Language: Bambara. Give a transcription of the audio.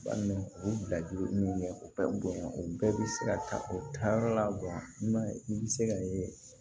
U bɛ bila ji min bɛ o bonya o bɛɛ bɛ se ka taa o taayɔrɔ la i bɛ se ka ye